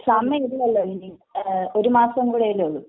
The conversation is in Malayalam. സമയമില്ലല്ലോ ഇനി..ഒരു മാസം കൂടെയല്ലേ ഉള്ളൂ.